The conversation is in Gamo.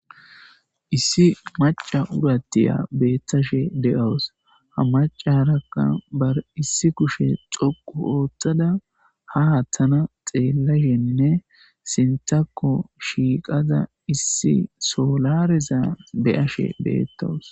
issi maca urattiya beettashe de7awus ha maca harakka bar issi kushe xoqu ootthada ha hattana xeellashenne sintako shiiqaza issi solareza beyashe beettawus